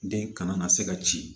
Den kana na se ka ci